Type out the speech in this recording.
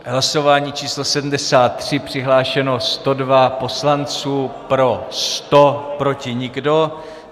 Hlasování číslo 73, přihlášeno 102 poslanců, pro 100, proti nikdo.